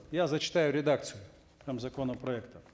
я зачитаю редакцию там законопроекта